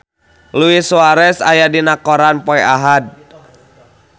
Luis Suarez aya dina koran poe Ahad